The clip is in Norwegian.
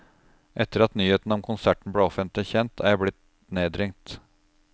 Etter at nyheten om konserten ble offentlig kjent, er jeg blitt nedringt.